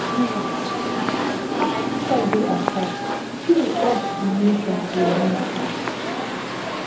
um afta friday attack kirr urge di nation to remain calm